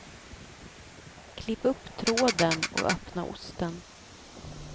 Klipp upp tråden och öppna osten.